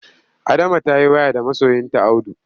Adama ta yi waya da masoyinta Audu.